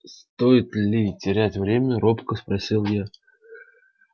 стоит ли терять время робко спросил я